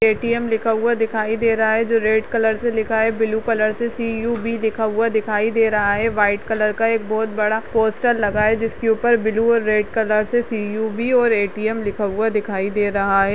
ए.टी.एम लिखा हुआ दिखाई दे रहा है जो रेड कलर से लिखा है ब्लू कलर से सी.यू.बी लिखा हुआ दिखाई दे रहा है व्हाइट कलर का एक बहोत बड़ा पोस्टर लगा है जिसके ऊपर ब्लू और रेड कलर से सी.यू.बी और ए.टी.एम लिखा हुआ दिखाई दे रहा है।